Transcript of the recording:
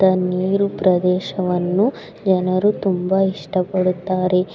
ಇತ್ತ ನೀರು ಪ್ರದೇಶವನ್ನು ಜನರು ತುಂಬಾ ಇಷ್ಟಪಡುತ್ತಾರೆ.